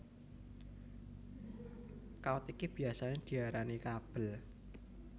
Kawat iki biyasané diarani kabel